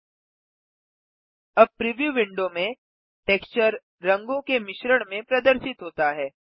001112 001108 अब preview window में texture रंगों के मिश्रण में प्रदर्शित होता है